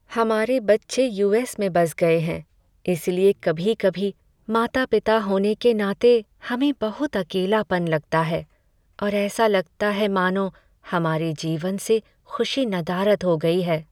हमारे बच्चे U S में बस गए हैं, इसलिए कभी कभी माता पिता होने के नाते हमें बहुत अकेलापन लगता है और ऐसा लगता है मानो हमारे जीवन से खुशी नदारद हो गई है।